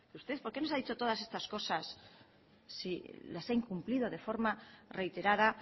usted por qué nos has dicho todas estas cosas si las ha incumplido de forma reiterada